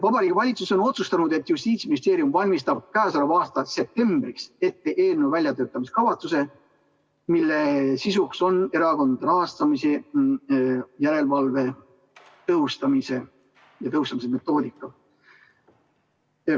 Vabariigi Valitsus on otsustanud, et Justiitsministeerium valmistab käesoleva aasta septembriks ette eelnõu väljatöötamiskavatsuse, mille sisuks on erakondade rahastamise järelevalve tõhustamise metoodika.